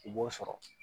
I b'o sɔrɔ